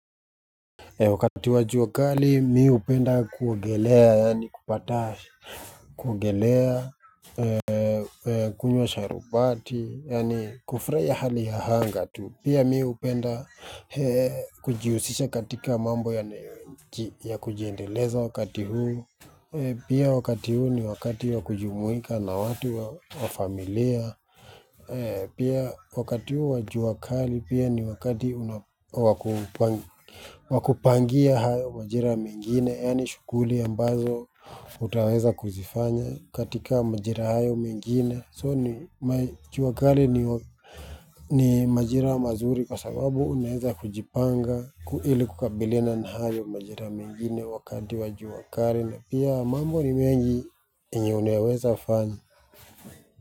Wakati wa jua kali, mi hupenda kuogelea, yani kupata kuogelea, kunywa sharubati, yani kufurahia hali ya anga tu. Pia mi hupenda kujihusisha katika mambo ya kujiendeleza wakati huu. Pia wakati huu ni wakati ya kujumuika na watu au familia. Pia wakati huo wa jua kali pia ni wakati unakuwa wa ku wa kupangia hayo majira mengine yani shughuli ambazo hutaweza kuzifanya katika majira hayo mengine. So ni jua kali ni majira mazuri kwa sababu unaeza kujipanga kukabiliana na hayo majira mengine wakati wa jua kali na pia mambo ni mengi yenye unaweza fanya.